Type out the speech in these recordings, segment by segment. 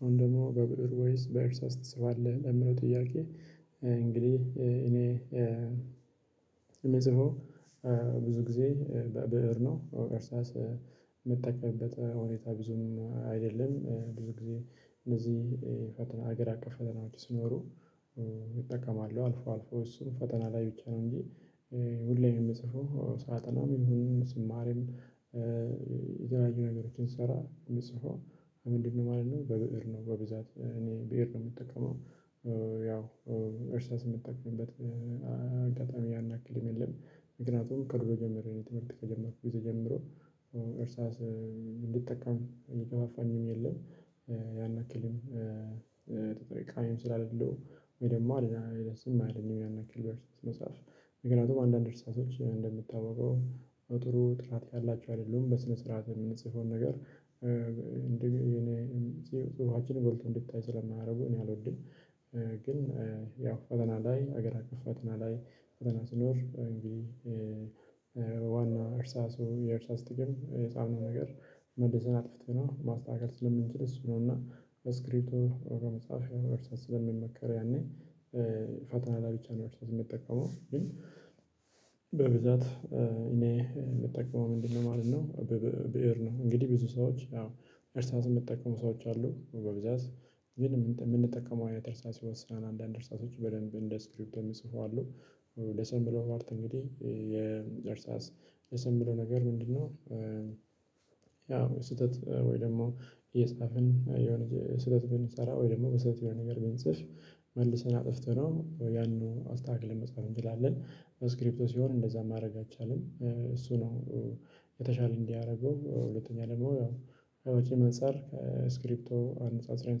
አሁን ደግሞ በብእር ወይስ በእርሳስ ትጽፋለህ? ለምለው ጥያቄ እንግዲህ እኔ የምጽፈው ብዙ ጊዜ በብእር ነው እርሳስ የምጠቀምበት ሁኔታ ብዙም አይደለም። ብዙ ጊዜ እነዚህ የፈተና ሀገር ፈተና ሲኖሩ እጠቀማሉ አልፎ አልፎ እሱን ፈተና ላይ ብቻ ነው። እንጂ ሁሌም የምጽፈው ሳጠናም ይሁንም ስማርም የተለያዩ ነገሮችን ስሰራ የምጽፈው ምንድነው ማለት ነው? በብእር ነው በብዛት እኔ ብእር ነው የምጠቀመው። ያው እርሳስ የምጠቀምበት አጋጣሚ ያናክልም የለም። ምክንያቱም ከድሮ ጀምሮ ትምህርት ከጀመርኩ ጊዜ ጀምሮ እርሳስ እንድጠቀም የሚገፋፋኝም የለም። ያን አክልም ተጠቃሚም ስላለሉ ወይ ደግሞ ደህና ይለስም አይለኝም ያን ያክል በርስ መጽሐፍ መገናንቱም አንዳንድ እርሳሶች እንደምታወቀው ጥሩ ጥራት ያላቸው አይደለም በስነ ስርዓት የምንጽፈውን ነገር እንደ የጽሁፋችንን ጎልቶ እንድታይ ስለማያደርጉ እኔ አልወድም። ግን ያው ፈተና ላይ ሀገር አቀፍ ፈተና ላይ ፈተና ስኖር እንዴ? ዋና እርሳሱ የእርሳስ ጥቅም የጻፍነው ነገር መልሰን አጥፍተናው ማስተካከል ስለምንችል እሱ ነውና በስክሪፕቶ ወደ መጽሐፍ የሆነ ስለሚመከር ያኔ ፈተና ላይ ብቻ ነው እርሳስ የምጠቀመው። በብዛት እኔ የምጠቀመው ምንድነው ማለት ነው? ብእር ነው እንግዲህ ብዙ ሰዎች ያው እርሳስ የምጠቀሙ ሰዎች አሉ በብዛት ግን የምንጠቀመው አይነት እርሳስ ይወስነዋል አንዳንድ እርሳሶች በደንብ እንደ ስክሪፕቶ የሚጽፉ አሉ። ደስ የሚለው ፓርት እንግዲህ የእርሳስ ደስ የሚለው ነገር ምንድነው? ያው ስህተት ወይ ደግሞ እየጻፍን የሆነ ስህትት ብንሰራ ወይ ደግሞ በስተት የሆነ ነገር በንጽፍ መልሰን አጥፍተነው ያንን አስተካክለን መጻፍ እንችላለን። ስክሪፕቶ ሲሆን እንደዛ ማድረግ አይቻልም እሱ ነው። የተሻለ እንዲያረገው ሁለተኛ ደግሞ ከወጪም አንፃር ከስክሪፕቶ አነጻጽረን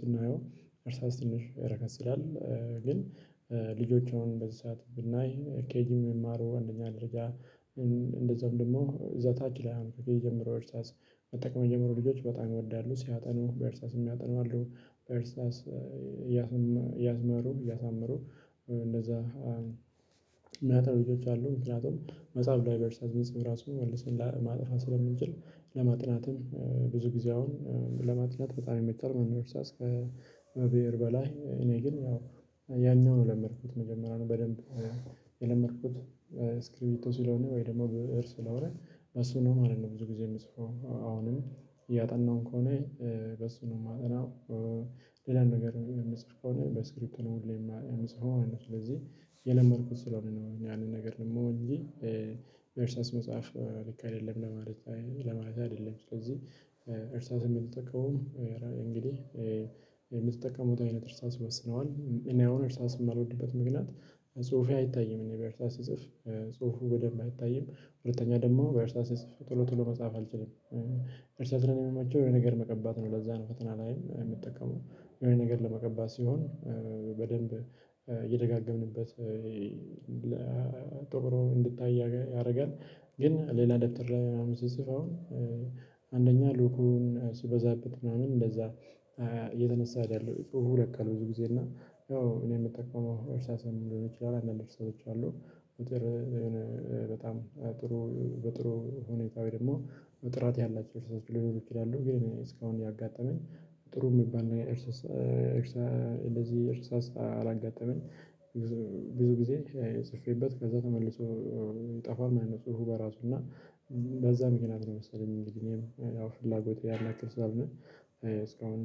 ስናየው እርሳስ ትንሽ ረከስ ይላል። ግን ልጆች አሁን በዚ ሰዓት ብናይ ኬጂም የሚማረው አንደኛ ደረጃ እንደዛውም ደግሞ እዛ ታች ላይ አሁን ከኬጂ እርሳስ መጠቀም የጀመረው ልጆች በጣም ይወዳሉ። ሲያጠኑ በእርሳስም ሚያጠኑ አሉ በእርሳስ እያስመሩ እያሳመሩ እንደዛ ሚያጠኑ ልጆች አሉ ምክንያቱም መጽሐፍ ላይ በእርሳስ ብንጽፍ ራሱን መልሰን ለማጥፋት ስለምንችል። ለማጥናትም ብዙ ጊዜ አሁን ለማጥናት በጣም ይመቻል እርሳስ ከብእር በላይ እኔ ግን ያው ያኛውን የለመድኩት መጀመሪያ ነው በደንብ። የለመድኩት ስክሪፕቶ ሲለሆነ ወይ ደግሞ ብእር ስለሆነ እሱ ነው ማለት ነው ብዙ ጊዜ የምጽፈው አሁንም እያጠናሁም ከሆነ በሱ ነው የማጠናው። ሌላን ነገር የምጽፍ ከሆነ በስክሪፕቶ ነው ሁሌም የምጽፈው ስለዚህ የለመድኩት ስለሆነ ነው እኛ ያንን ነገር ደግሞ እንጂ። እርሳስ መጻፍ ልክ አይደለም ለማለት ለማለት አይደለም። ስለዚህ እርሳስ የምጠቀመው እንግዲህ የምትጠቀሙት አይነት እርሳስ ይወስነዋል እኔ አሁን እርሳስ የማልወድበት ምክንያት ጽሁፌ አይታይም እኔ በእርሳስ ስጽፍ ጽሁፉ በደንብ አይታይም ሁለተኛ ደግሞ በእርሳስ ስጽፍ ቶሎ ቶሎ መጻፍ አልችልም። እርሳስ ነው የምመቸው የኔ ነገር መቀባት ነው ለዛ ነው ፈተና ላይም የምትጠቀመው የሆነ ነገር ለመቀባት ሲሆን። በደንብ የደጋገምንበት ጠቁሮ እንድታይ ያደርጋል። ግን ሌላ ደብተር ላይ አሁን ስጽፍ አሁን አንደኛ ሉኩን ስበዛበት ምናምን እንደዛ እየተነሳ አይደለም ጹሁፉ ቀን ብዙ ጊዜ እና ያው እኔ የምጠቀመው እርሳሳም ሊሆን ይችላል። አንዳንድ እርሳሶች አሉ በጥሩ በጣም በጥሩ ሁኔታ ወይ ደግሞ ጥራት ያላቸው እርሳሶች ሊሆኑ ይችላሉ። ግን እስካሁን ያጋጠመኝ ጥሩ የሚባል እርሳስ እርስ እንደዚህ እርሳስ አላጋጠመኝ። ብዙ ጊዜ ጽፌበት ከዛ ተመልሶ ይጠፋል ማለት ነው። ጽሁፍ በራሱ እና በዛ ምክንያት ነው መሰለኝ እንግዲህ እኔም ፍላጎቴ ያን ያክል ስለሆነ እስካሁን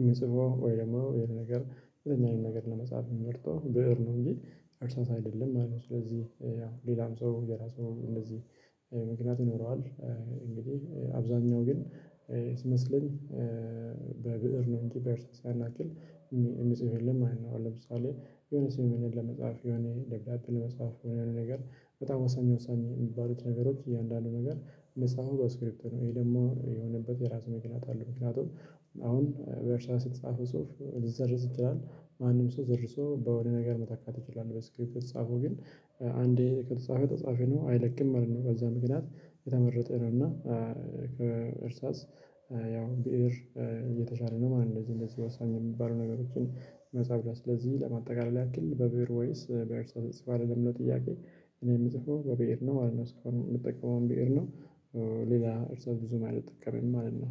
የምጽፈው ወይ ደግሞ ይሄን ነገር የትኛውን ነገር ለመጻፍ የምመርጠው ብእር ነው እንጂ እርሳስ አይደለም ማለት ነው። ስለዚህ ያው ሌላም ሰው የራሱ እንደዚህ ምክንያት ይኖረዋል። እንግዲህ አብዛኛው ግን ስመስለኝ በብእር ነው እንጂ በእርሳስ ያን ያክል የሚጽፍ የለም ማለት ነው። ለምሳሌ የሆነ ስምምነት ለመጻፍ የሆነ ደብዳቤ ለመጻፍ የሆነ ነገር በጣም ወሳኝ ወሳኝ የሚባሉት ነገሮች እያንዳንዱ ነገር ሚጻፈው በስክሪፕቶ ነው። ይሄ ደግሞ የሆነበት የራሱ ምክንያት አለው። ምክንያቱም አሁን በእርሳስ የተጻፈው ጽሁፍ ልትሰርዝ ይችላል ማንም ሰው ሰርዞ በሆነ ነገር መተካት ይችላል በስክሪፕቶ የተጻፈው ግን አንዴ ከተጻፈ ተጻፈ ነው አይለቅም ማለት ነው። በዛ ምክንያት የተመረጠ ነው። እና ከእርሳስ ያው ብእር የተሻለ ነው ማለት ነው። እንደዚህ እንደዚህ ወሳኝ የሚባሉ ነገሮችን መጻፍ ላይ ስለዚህ ለማጠቃለል ያክል በብእር ወይስ በእርሳስ ትጽፋለህ? ለሚለው ጥያቄ እኔ የምጽፈው በብእር ነው ማለት ነው እስካሁን የምጠቀመውም ብእር ነው። ሌላ እርሳስ ብዙ ማለት አልጠቀምም ማለት ነው